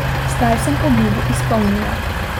Zdaj sem obljubo izpolnila.